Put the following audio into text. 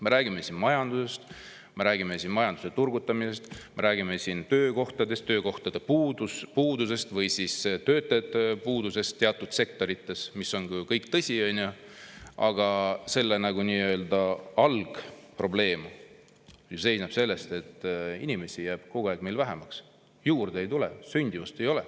Me räägime siin majandusest, me räägime majanduse turgutamisest, me räägime töökohtadest, töökohtade puudusest või siis töötajate puudusest teatud sektorites – see kõik on ju tõsi –, aga algprobleem seisneb ju selles, et inimesi jääb meil kogu aeg vähemaks, juurde ei tule, sündimust ei ole.